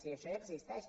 si això ja existeix